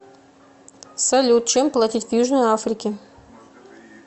салют чем платить в южной африке